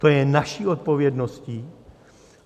To je naší odpovědností.